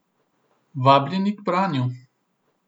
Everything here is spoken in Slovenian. Vabljeni k branju!